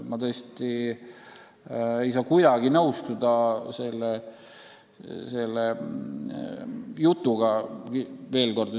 Ma tõesti ei saa selle jutuga kuidagi nõustuda.